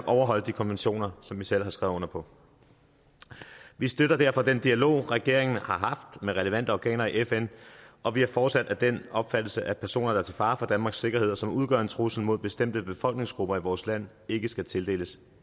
overholde de konventioner som vi selv har skrevet under på vi støtter derfor den dialog regeringen har haft med relevante organer i fn og vi er fortsat af den opfattelse at personer der er til fare for danmarks sikkerhed og som udgør en trussel mod bestemte befolkningsgrupper i vores land ikke skal tildeles